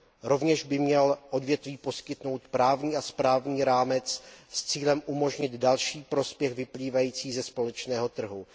Rovněž by měly odvětví poskytnout právní a správní rámec s cílem umožnit další prospěch vyplývající ze společného trhu.